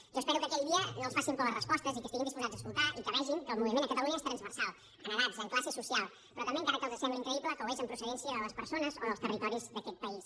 jo espero que aquell dia no els facin por les respostes i que estiguin disposats a escoltar i que vegin que el moviment a catalunya és transversal en edats en classe social però també encara que els sembli increïble que ho és en procedència de les persones o dels territoris d’aquest país